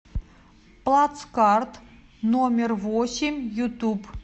плацкарт номер восемь ютуб